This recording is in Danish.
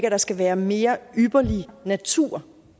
at der skal være mere ypperlig natur og